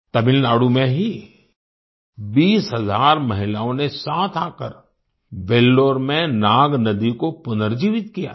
तमिलनाडु में ही 20 हजार महिलाओं ने साथ आकर वेल्लोर में नाग नदी को पुनर्जीवित किया था